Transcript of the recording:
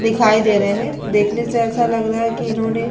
दिखाई दे रहे हैं। देखने से ऐसा लग रहा है कि इन्होने --